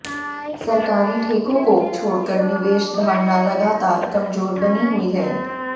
सरकारी ठेकों को छोड़कर निवेश धारणा लगातार कमजोर बनी हुई है